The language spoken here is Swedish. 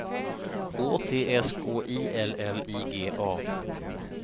Å T S K I L L I G A